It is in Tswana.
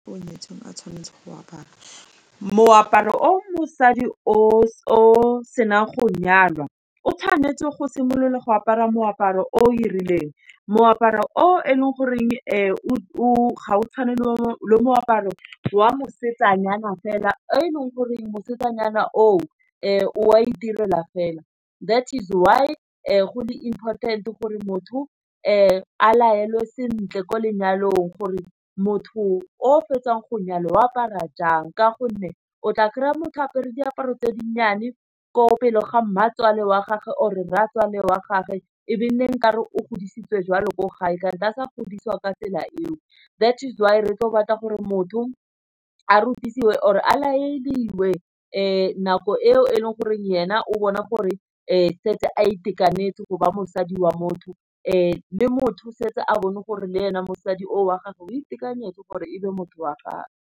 O nyetseng a tshwanetseng go apara moaparo o mosadi o senang go nyalwa, o tshwanetse go simolola go apara moaparo o e rileng, moaparo o e leng goreng o ga o tshwanelwa moaparo wa mosetsanyana fela e leng goreng mosetsanyana o wa itirela fela, that is why go le important-e gore motho a laelwe sentle ko lenyalong. Gore motho o o fetsang go nyala wa apara jang, ka gonne o tla kry-a motho a apare diaparo tse dinnyane, ko pele ga Mmatswale wa gage or Rratswale wa gagwe, ebilane nkare o godisitswe jwalo ko gae, kante a sa godisiwa ka tsela eo, that's why re tle go batla gore motho a rotiwe or e a leadiwe. Nako eo e leng goreng ena, o bona gore setse a itekanetse go ba mosadi wa motho, le motho setse a bone gore le ene mosadi o a gagwe o itekanetse gore ebe motho wa gagwe.